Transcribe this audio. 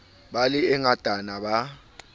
be le e ngatanyana ba